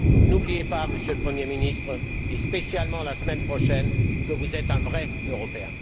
N'oubliez pas, Monsieur le Premier ministre, et spécialement la semaine prochaine, que vous êtes un vrai Européen.